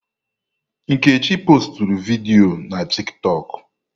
Nkechi postụrụ vidiyo na tịktọk